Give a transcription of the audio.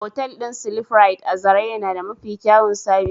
otal din "sleeprite" a zarai yana da Mafi kyawun sabis.